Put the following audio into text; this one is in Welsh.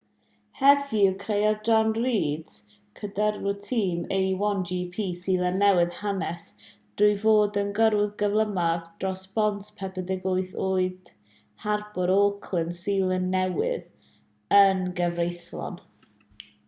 heddiw creodd jonny reid cydyrrwr tîm a1gp seland newydd hanes trwy fod y gyrrwr cyflymaf dros bont 48 oed harbwr auckland seland newydd yn gyfreithlon